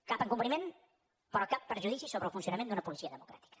cap encobriment però cap prejudici sobre el funcionament d’una policia democràtica